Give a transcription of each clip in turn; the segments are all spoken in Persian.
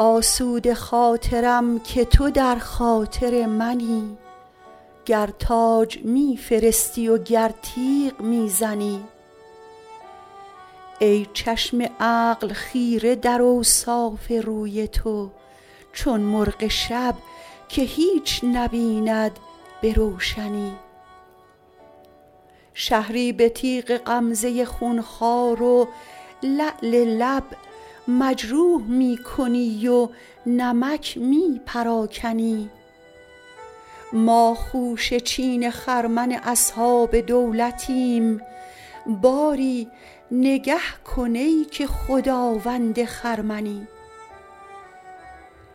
آسوده خاطرم که تو در خاطر منی گر تاج می فرستی و گر تیغ می زنی ای چشم عقل خیره در اوصاف روی تو چون مرغ شب که هیچ نبیند به روشنی شهری به تیغ غمزه خونخوار و لعل لب مجروح می کنی و نمک می پراکنی ما خوشه چین خرمن اصحاب دولتیم باری نگه کن ای که خداوند خرمنی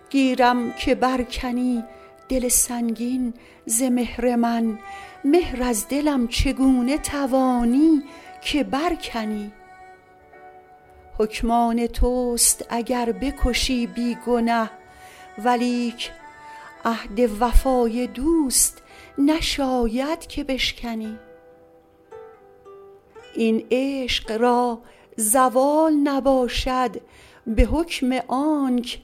گیرم که بر کنی دل سنگین ز مهر من مهر از دلم چگونه توانی که بر کنی حکم آن توست اگر بکشی بی گنه ولیک عهد وفای دوست نشاید که بشکنی این عشق را زوال نباشد به حکم آنک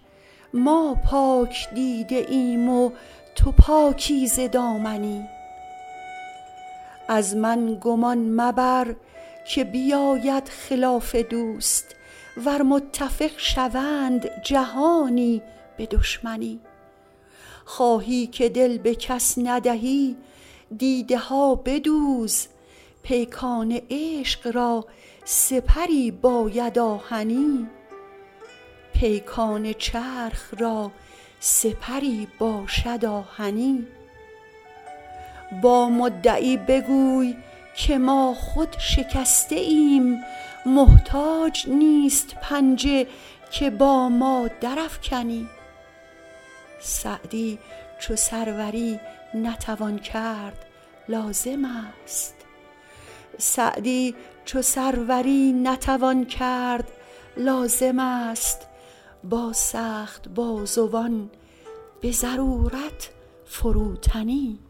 ما پاک دیده ایم و تو پاکیزه دامنی از من گمان مبر که بیاید خلاف دوست ور متفق شوند جهانی به دشمنی خواهی که دل به کس ندهی دیده ها بدوز پیکان چرخ را سپری باشد آهنی با مدعی بگوی که ما خود شکسته ایم محتاج نیست پنجه که با ما درافکنی سعدی چو سروری نتوان کرد لازم است با سخت بازوان به ضرورت فروتنی